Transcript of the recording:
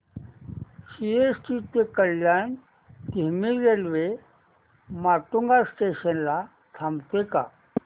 CST ते कल्याण धीमी railway Matunga station ला थांबते का